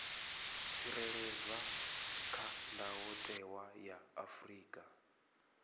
tsireledzwa kha ndayotewa ya afrika